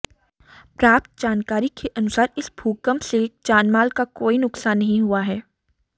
प्राप्त जानकारी के अनुसार इस भूकंप से जान माल का कोई नुक्सान नहीं हुआ हैं